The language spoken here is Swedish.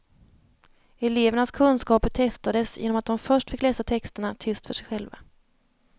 Elevernas kunskaper testades genom att de först fick läsa texterna tyst för sig själva.